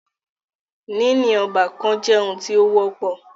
Níní ọ́bàkan jẹ́ oun tí o wọ́pọ̀.